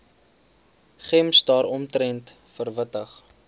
gems daaromtrent verwittig